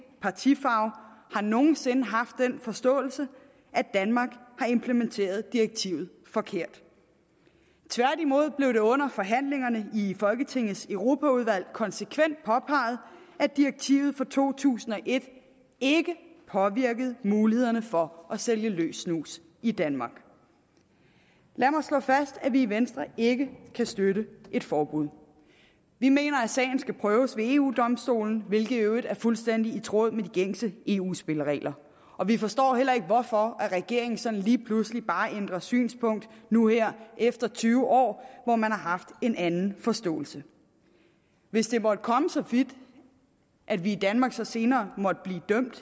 partifarve har nogen sinde haft den forståelse at danmark har implementeret direktivet forkert tværtimod blev det under forhandlingerne i folketingets europaudvalg konsekvent påpeget at direktivet fra to tusind og et ikke påvirkede mulighederne for at sælge løs snus i danmark lad mig slå fast at vi i venstre ikke kan støtte et forbud vi mener at sagen skal prøves ved eu domstolen hvilket i øvrigt er fuldstændig i tråd med de gængse eu spilleregler og vi forstår heller ikke hvorfor regeringen sådan bare lige pludselig ændrer synspunkt nu her efter tyve år hvor man har haft en anden forståelse hvis det måtte komme så vidt at vi i danmark så senere måtte blive dømt